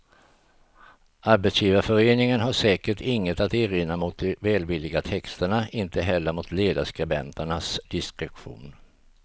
Arbetsgivarföreningen har säkert inget att erinra mot de välvilliga texterna, inte heller mot ledarskribenternas diskretion.